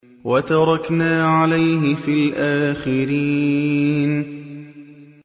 وَتَرَكْنَا عَلَيْهِ فِي الْآخِرِينَ